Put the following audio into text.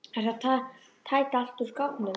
Ertu að tæta allt út úr skápnum?